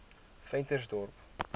ventersdorp